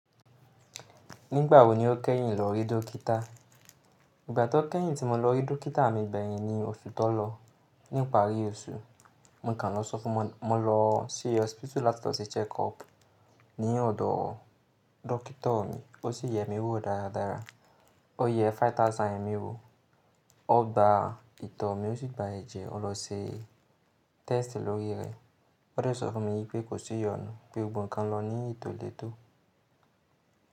Nígbà wo ni o kẹ́yìn lọ rí dọ́kítà? Ìgbà tó kẹ́yìn tí mo lọ rí dọ́kítà mi gbẹ́yìn ni oṣù tó lọ. Ní ìparí oṣù, mo kàn lọ sọ fún mọn, mo lọ sí osipitu láti lọ ṣe check up ní ọ̀dọ̀ dọ́kító mi. O sì yẹ mi wò dáradára. O yẹ ẹgbẹ̀rún márùn-ún èmi wò. O gba ìtọ̀ mi, o sì gba ẹ̀jẹ̀, o lọ ṣe tẹ́stì lórí rẹ̀. O dẹ̀ sọ fún mi wípé kò sí iyonù, pé gbogbo n kan lọ ní ètò lè tó.